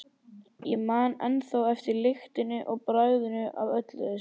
Ég man ennþá eftir lyktinni og bragðinu af þessu öllu.